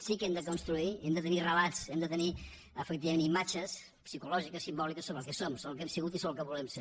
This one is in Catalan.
sí que hem de construir i hem de tenir relats hem de tenir efectivament imatges psicològiques simbòliques sobre el que som sobre el que hem sigut i sobre el que volem ser